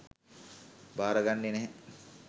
භාරගන්නෙ නැහැ.